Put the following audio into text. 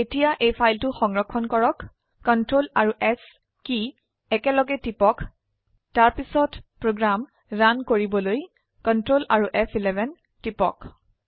এতিয়া এই ফাইলটো সংৰক্ষণ কৰক Ctrl এএমপি S কী একলগে টিপক তাৰপিছত প্ৰোগ্ৰাম ৰান কৰিবলৈ Ctrl আৰু ফ11 টিপক